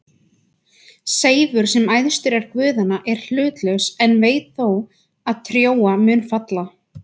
Seifur, sem æðstur er guðanna, er hlutlaus en veit þó að Trója mun falla.